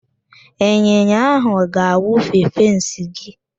Ịnyịnya ahụ ga-awụfe fensị gị.